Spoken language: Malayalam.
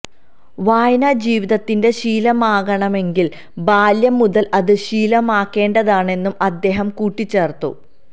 വായന ജീവിതത്തിന്റെ ശീലമാകണമെങ്കിൽ ബാല്യം മുതൽ അത് ശീലമാക്കേണ്ടതാണെന്നും അദ്ദേഹം കൂട്ടിച്ചേർത്തു